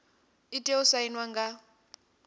i tea u sainwa nga